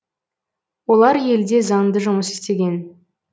олар елде заңды жұмыс істеген